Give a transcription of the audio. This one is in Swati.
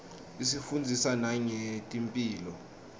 isifundzisa nangetemphilo